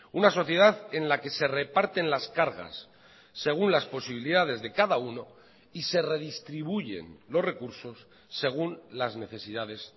una sociedad en la que se reparten las cargas según las posibilidades de cada uno y se redistribuyen los recursos según las necesidades